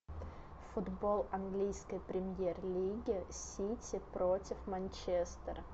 футбол английской премьер лиги сити против манчестера